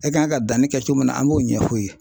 E kan ka danni kɛ cogo min na an m'o ɲɛf'u ye.